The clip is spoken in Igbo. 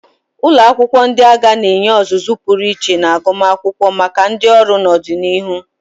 Ụlọ akwụkwọ ndị agha na-enye ọzụzụ pụrụ iche na agụmakwụkwọ maka ndị ọrụ n'ọdịnihu.